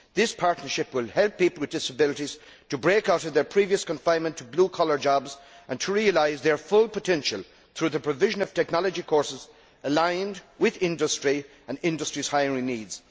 This partnership will help people with disabilities to break out of their previous confinement to blue collar jobs and to realise their full potential through the provision of technology courses aligned with industry and industry's hiring needs.